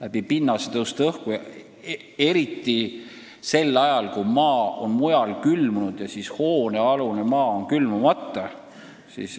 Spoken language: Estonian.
See ähvardab eriti sel ajal, kui maa on mujal külmunud ja hoonealune maa on külmumata.